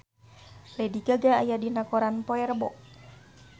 Lady Gaga aya dina koran poe Rebo